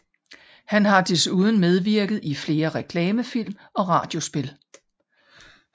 Han har desuden medvirket i flere reklamefilm og radiospil